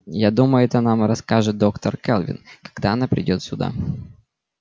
я думаю это нам расскажет доктор кэлвин когда она придёт сюда